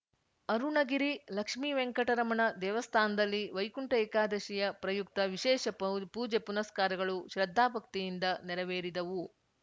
ಅರುಣಗಿರಿ ಲಕ್ಷ್ಮೀವೆಂಕಟರಮಣ ದೇವಸ್ಥಾನದಲ್ಲಿ ವೈಕುಂಠ ಏಕಾದಶಿಯ ಪ್ರಯುಕ್ತ ವಿಶೇಷ ಪೂಜೆ ಪುನಸ್ಕಾರಗಳು ಶ್ರದ್ಧಾಭಕ್ತಿಯಿಂದ ನೆರವೇರಿದವು